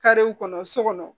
Karew kɔnɔ so kɔnɔ